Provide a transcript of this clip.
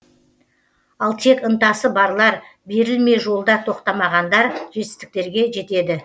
ал тек ынтасы барлар берілмей жолда тоқтамағандар жетістіктерге жетеді